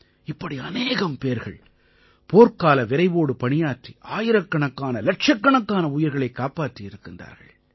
இப்படி அநேகம் பேர்கள் போர்க்கால விரைவோடு பணியாற்றி ஆயிரக்கணக்கானஇலட்சக்கணக்கான உயிர்களைக் காப்பாற்றி இருக்கிறார்கள்